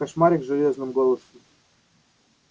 кошмарик железным голосом сказал папулька